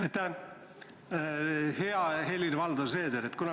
Aitäh, hea Helir-Valdor Seeder!